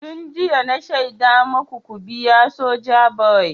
Tun jiya na shaida maku ku biya Sojaboy!